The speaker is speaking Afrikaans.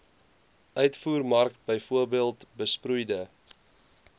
uitvoermark bv besproeide